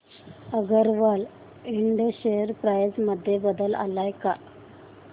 Agarwal Ind share price मध्ये बदल आलाय का